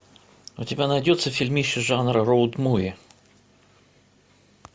у тебя найдется фильмище жанра роуд муви